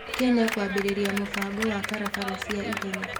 Kenya kũambĩrĩria mũbango wa barabara cia 'ihenya'.